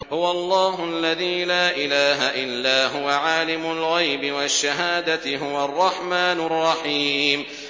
هُوَ اللَّهُ الَّذِي لَا إِلَٰهَ إِلَّا هُوَ ۖ عَالِمُ الْغَيْبِ وَالشَّهَادَةِ ۖ هُوَ الرَّحْمَٰنُ الرَّحِيمُ